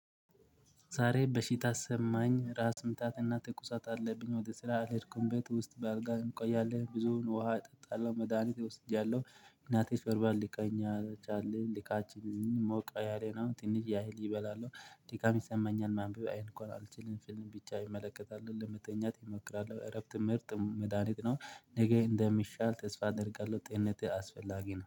ዛሬ በሺታ አሰማኝ ራስ ምታትና ትኩሳት አለብኝ ወደ ስራ አልሄድኩም ቤት ውስጥ በአልጋ እንቆያለን ብዙውን ውሃ እጠጣለሁ መድሃኒት እወስጃለሁ። እናቴ በርባን ሊቃኛቸው አለ ሊቃችንን ሞቃዬ ነው። ትንሽ ያህል ይበላል ደቂቃም ይሰማኛል ማንበብ አይን ከሆነ አልችልም። ፊልም ብቻ ይመለከታል ለመተኛት ይሞክራል እረፍት ምርጥ መድሃኒት ነው። ነገ እንደሚሻል ተስፋ አደርጋለሁ ጤነትህ አስፈላጊ ነው